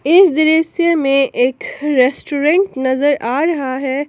इस दृश्य में एक रेस्टोरेंट नजर आ रहा है।